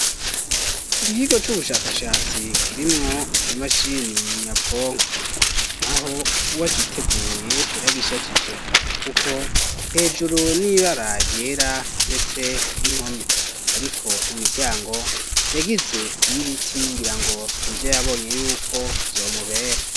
Ikikigo c'ubushakashatsi, kirimwo imashini nyabwonko; naho uwagiteguye, yaragishajije; kuko hejuru, ni ibara ryera, ndetse n'impome; ariko imiryango, yagize iy'ibiti, ngira ngo, nivyo yabonye y'uko, vyomubera.